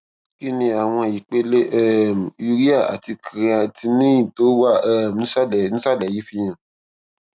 kí ni àwọn ipele um urea àti creatinine tó wà um nísàlẹ nísàlẹ yìí fihàn